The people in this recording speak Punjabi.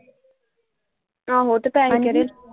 ਆਹੋ ਤੇ ਪੈਸੇ ਕਿਹੜੇ?